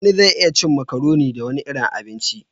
Wani zai iya cin macaroni da wani irin abinci